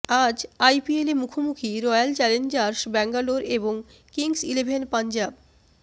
আজ আইপিএলে মুখোমুখি রয়্যাল চ্যালেঞ্জার্স ব্যাঙ্গালোর এবং কিংস ইলেভেন পাঞ্জাব